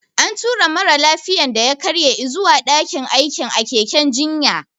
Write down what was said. An tura mara lafiyan da ya karye izuwa daƙin aikin a keken jinya